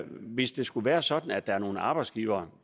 hvis det skulle være sådan at der er nogle arbejdsgivere